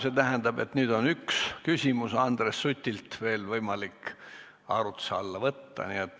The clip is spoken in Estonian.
See tähendab, et nüüd on üks küsimus Andres Sutilt veel võimalik arutluse alla võtta.